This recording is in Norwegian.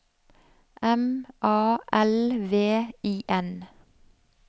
M A L V I N